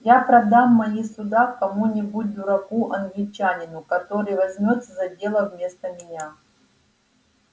я продам мои суда кому-нибудь дураку-англичанину который возьмётся за дело вместо меня